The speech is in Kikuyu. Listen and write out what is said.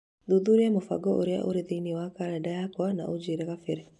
Thuthuria mũbango ũrĩa ũrĩ thĩinĩ wa kalendarĩ yakwa na ũnjĩĩre kabere.